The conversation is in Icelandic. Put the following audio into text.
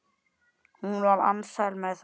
Hún var alsæl með það.